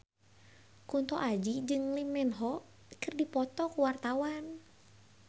Kunto Aji jeung Lee Min Ho keur dipoto ku wartawan